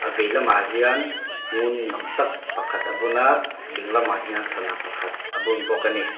a vei lamah hian ngun ni awm tak pakhat a bun a ding lamah hian sana pakhat a bun bawk ani.